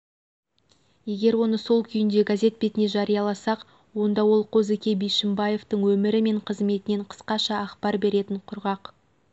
егер оны сол күйінде газет бетіне жарияласақ онда ол қозыке бишімбаевтың өмірі мен қызметінен қысқаша ақпар беретін құрғақ